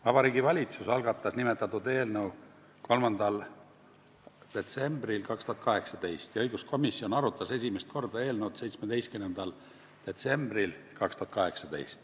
Vabariigi Valitsus algatas nimetatud eelnõu 3. detsembril 2018 ja õiguskomisjon arutas eelnõu esimest korda 17. detsembril.